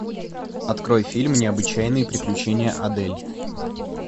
открой фильм необычайные приключения адель